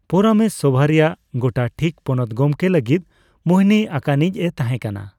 ᱯᱚᱨᱟᱢᱮᱥ ᱥᱚᱵᱷᱟ ᱨᱮᱭᱟᱜ ᱜᱚᱴᱟ ᱴᱷᱤᱠ ᱯᱚᱱᱚᱛ ᱜᱚᱢᱠᱮ ᱞᱟᱹᱜᱤᱫ ᱢᱩᱦᱱᱤ ᱟᱠᱟᱱᱤᱡ ᱮ ᱛᱟᱦᱮᱸ ᱠᱟᱱᱟ ᱾